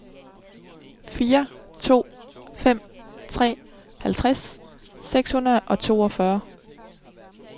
fire to fem tre halvtreds seks hundrede og toogfyrre